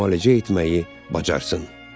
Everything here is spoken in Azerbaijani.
müalicə etməyi bacarsın.